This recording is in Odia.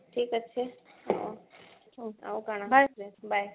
ଠିକ ଅଛି ଆଉ କଣ bye